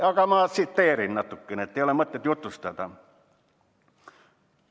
Aga ma loen natukene ette, ei ole mõtet ümber jutustada.